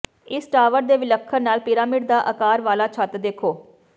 ਇਸ ਟਾਵਰ ਦੇ ਵਿਲੱਖਣ ਲਾਲ ਪਿਰਾਮਿਡ ਦਾ ਆਕਾਰ ਵਾਲਾ ਛੱਤ ਦੇਖੋ